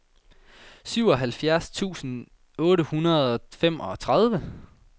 syvoghalvfjerds tusind otte hundrede og femogtredive